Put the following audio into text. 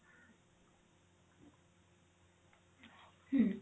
ହୁଁ